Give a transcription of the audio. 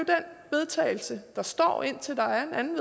den vedtagelse der står indtil der er en